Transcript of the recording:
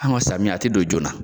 Anw ka samiya, a te don joona .